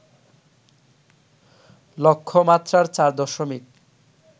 লক্ষ্যমাত্রার ৪ দশমিক